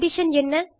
condition என்ன